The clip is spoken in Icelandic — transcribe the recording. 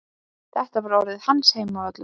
Þetta var orðinn hans heimavöllur.